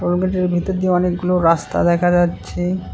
ভিতর দিয়ে অনেকগুলো রাস্তা দেখা যাচ্ছে।